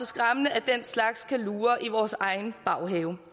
skræmmende at den slags kan lure i vores egen baghave